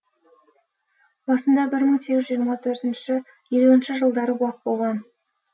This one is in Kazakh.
басында бір мың сегіз жүз жиырма төртінші елуінші жылдары бұлақ болған